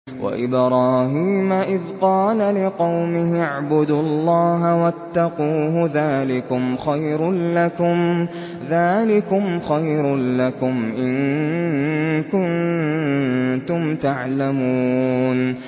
وَإِبْرَاهِيمَ إِذْ قَالَ لِقَوْمِهِ اعْبُدُوا اللَّهَ وَاتَّقُوهُ ۖ ذَٰلِكُمْ خَيْرٌ لَّكُمْ إِن كُنتُمْ تَعْلَمُونَ